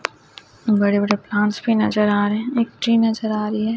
बड़े बड़े प्लांट्स भी नजर आ रहे हैं एक ट्री नजर आ रही है।